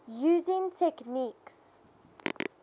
using techniques